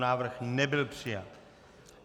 Návrh nebyl přijat.